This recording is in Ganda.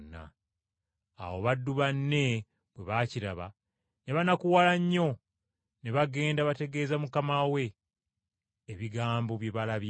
Awo baddu banne bwe baakiraba ne banakuwala nnyo, ne bagenda bategeeza mukama we ebigambo bye balabye.